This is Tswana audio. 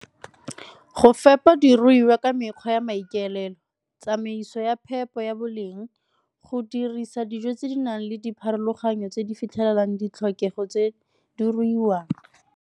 Go fepa diruiwa ka mekgwa ya maikaelelo, tsamaiso ya phepo ya boleng, go dirisa dijo tse di nang le dipharologanyo tse di fitlhelelang ditlhokego tse di ruiwang.